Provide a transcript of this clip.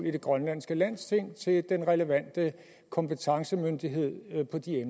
i det grønlandske landsting til den relevante kompetencemyndighed på de